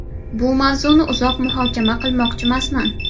Bu mavzuni uzoq muhokama qilmoqchimasman.